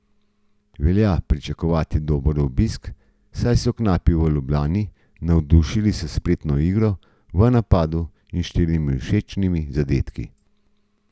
Velja pričakovati dober obisk, saj so knapi v Ljubljani navdušili s spretno igro v napadu in štirimi všečnimi zadetki.